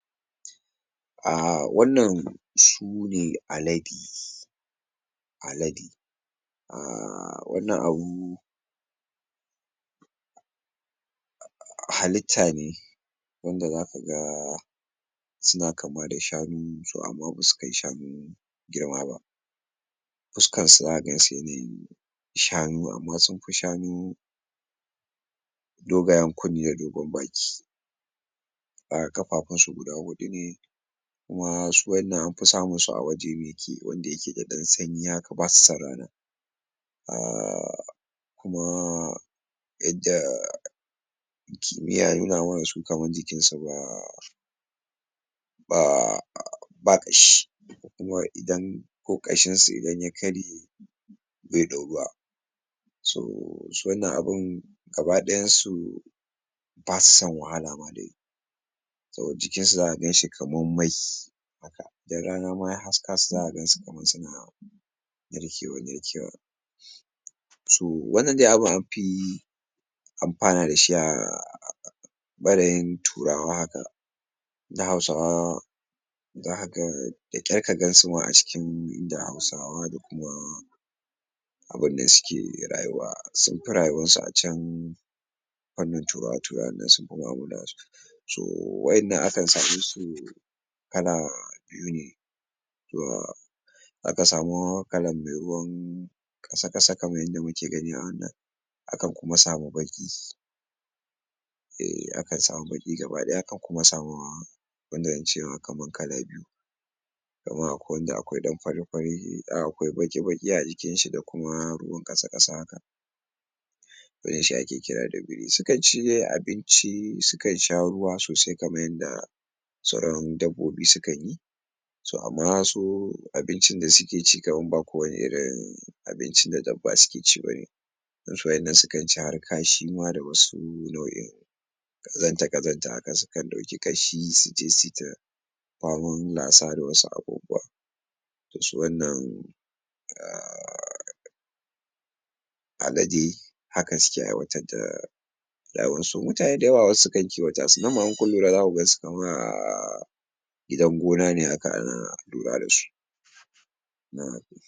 A wannan su ne alade alade uhm wannan abu halitta ne wanda zaka ga su na kama da shanu to amma ba su kai shanu girma ba fuskansu zaka gan su yanayin shanu amma sun fi shanu dogayen kunne da dogon baki uhm ƙafafunsu guda huɗu ne kuma su wannan an fi samun su a waje wanda yake da ɗan sanyi haka ba su san rana uhm kuma yanda uhm kimiyya ya nuna mana su kaman jikinsu ba ba ba ƙashi kuma idan ko ƙashinsu idan ya karye bai ɗauruwa so su wannan abin gaba-ɗayansu ba su san wahala ma dai to jikinsu zaka gan shi kaman mai idan rana ma ya haska su zaka gan su kaman su na narkewa-narkewa to wannan de abin an fi amfana da shi a ɓarayin turawa haka dan Hausawa za ka ga da kyar ka gan su ma a cikin inda Hausawa da kuma abin da suke rayuwa sun fi rayuwansu a can wannan turawa-turawan dan sun fi mu'amala da su so waƴannan akan same su kala biyu ne to zaka samu kalan me ruwan ƙasa-ƙasa kaman yanda muke gani a wannan akan kuma samu baƙi eh akan samu baƙi gaba-ɗaya akan kuma samu wanda in ce ma kaman kala biyu domin akwai wanda akwai ɗan fari-fari dan akwai baƙi-baƙi a jikinshi da kuma ruwan ƙasa-ƙasa haka wannan shi ake ƙira da biri su kan de ci abinci su kan sha ruwa sosai kaman yanda sauran dabbobi su kan yi so amma su abincin da suke ci kaman ba kowane irin abincin da dabba suke ci ba ne dan su waƴannan su kan ci har kashi ma da wasu nau'in ƙazanta-ƙazanta haka su kan ɗauki kashi su je su yi ta faman lasa da wasu abubuwa to su wannan uhm alade haka suke aiwatar da rayuwansu mutane da yawa wasu su kan kiwata su nan ma in kun lura za ku gan su kaman um gidan gona ne um ana lura da su